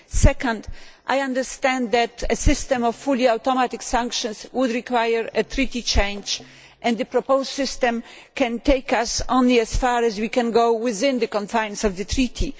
Second, I understand that a system of fully automatic sanctions would require a treaty change and the proposed system can take us only as far as we can go within the confines of the treaty.